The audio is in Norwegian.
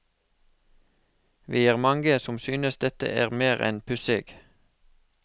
Vi er mange som synes dette er mer enn pussig.